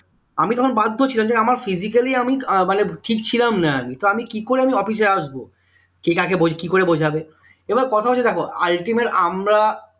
আমি তখন বাধ্য ছিলাম যে আমার physically আমি আহ মানে ঠিক ছিলাম না তো আমি কি করে office এ আসবো? কে কাকে কি করে বোঝাবে? এবার কথা হচ্ছে দেখো ultimate আমরা